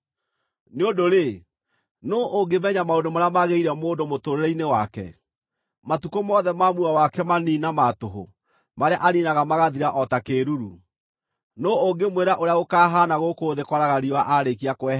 Nĩ ũndũ-rĩ, nũũ ũngĩmenya maũndũ marĩa magĩrĩire mũndũ mũtũũrĩre-inĩ wake, matukũ mothe ma muoyo wake manini na ma tũhũ marĩa aniinaga magathira o ta kĩĩruru? Nũũ ũngĩmwĩra ũrĩa gũkaahaana gũkũ thĩ kwaraga riũa aarĩkia kwehera?